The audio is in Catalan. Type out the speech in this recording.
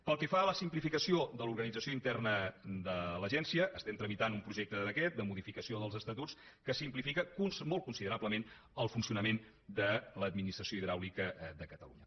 pel que fa a la simplificació de l’organització interna de l’agència tramitem un projecte de decret de modificació dels estatuts que simplifica molt considerablement el funcionament de l’administració hidràulica de catalunya